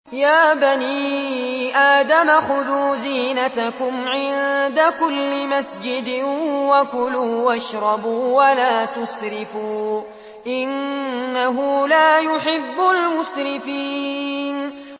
۞ يَا بَنِي آدَمَ خُذُوا زِينَتَكُمْ عِندَ كُلِّ مَسْجِدٍ وَكُلُوا وَاشْرَبُوا وَلَا تُسْرِفُوا ۚ إِنَّهُ لَا يُحِبُّ الْمُسْرِفِينَ